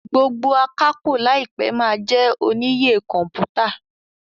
gbógbó Akápò láìpé ma jé oníyè kọmputa